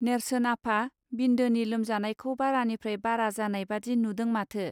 नेर्सोन आफा बिन्दोनि लोमजानायखौ बारानिफ्राय बारा जानाय बादि नुदों माथो.